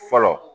Fɔlɔ